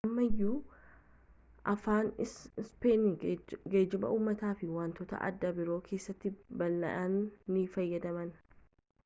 ammayyuu afaan ispeen geejjiba uumataa fi wantoota adda biroo keessatti bal'inaan ni fayyadamama